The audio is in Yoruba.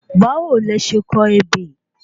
Bawo lẹ se kọ ebè?